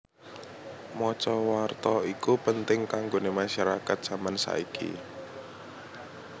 Maca warta iku penting kanggone masyarakat jaman saiki